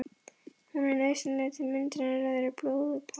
Hún er nauðsynleg til myndunar rauðra blóðkorna.